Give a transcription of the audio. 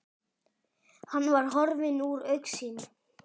Hann var horfinn úr augsýn.